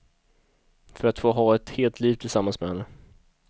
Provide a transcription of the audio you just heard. För att få ha ett helt liv tillsammans med henne.